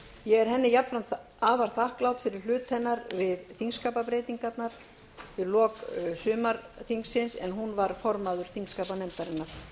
er henni jafnframt afar þakklát fyrir hlut hennar að þingskapabreytingunum við lok sumarþingsins en hún var formaður þingskapanefndarinnar